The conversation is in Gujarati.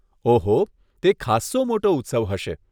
ઓહો, તે ખાસ્સો મોટો ઉત્સવ હશે.